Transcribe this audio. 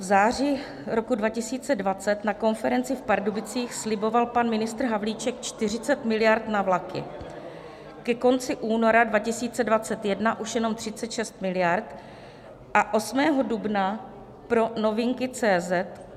V září roku 2020 na konferenci v Pardubicích sliboval pan ministr Havlíček 40 miliard na vlaky, ke konci února 2021 už jenom 36 miliard a 8. dubna pro novinky.cz